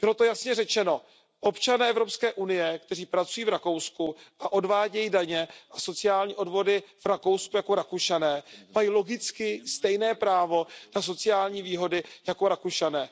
Bylo to jasně řečeno, občané Evropské unie, kteří pracují v Rakousku a odvádějí daně a sociální odvody v Rakousku jako Rakušané, mají logicky stejné právo na sociální výhody jako Rakušané.